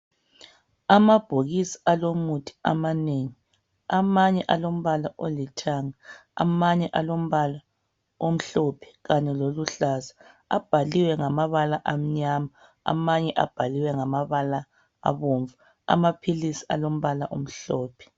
Amabhokisi alomuthi amanengi, amanye alombala olithanga, amanye alombala omhlophe kanye loluhlaza. Abhaliwe ngamabala amnyama, amanye abhaliwe ngamabala abomvu. Amaphilisi alombala omhlophe.